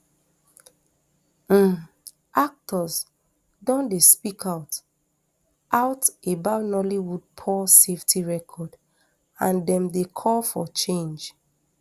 um actors don dey speak out out about nollywood poor safety record and dem dey call for change